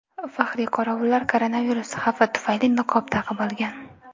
Faxriy qorovullar koronavirus xavfi tufayli niqob taqib olgan.